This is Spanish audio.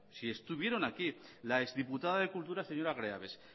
si estuvieron aquí la ex diputada de cultura señora greaves